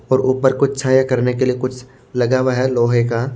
और ऊपर कुछ छाया करने के लिए कुछ लगा हुआ है लोहे का--